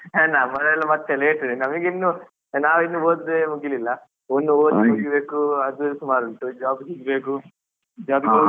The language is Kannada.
ನಮಗೆಲ್ಲಾ ಮತ್ತೆ late ನಮಗಿನ್ನು ನಾವಿನ್ನು ಓದಿಯೇ ಮುಗಿಲಿಲ್ಲ ಒಂದು ಓದಿ ಮುಗಿಬೇಕು ಅದೇ ಸುಮಾರ್ ಉಂಟು job ಸಿಗಬೇಕು job ಇಗೆ ಹೋಗಬೇಕು.